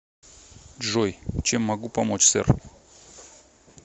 джой чем могу помочь сэр